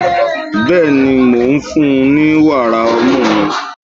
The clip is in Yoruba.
Bẹ́ẹ̀ni, mò ń fún-un ní wàrà ọmú mi.